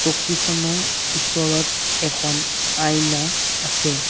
চকীখনৰ ওচৰত এখন আইনা আছে।